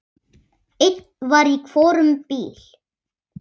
Einn var í hvorum bíl.